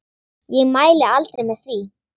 Ég mæli aldrei með því.